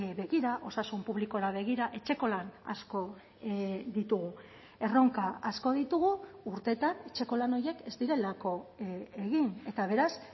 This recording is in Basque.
begira osasun publikora begira etxeko lan asko ditugu erronka asko ditugu urteetan etxeko lan horiek ez direlako egin eta beraz